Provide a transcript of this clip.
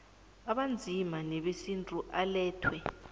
abanzima newesintu alethwe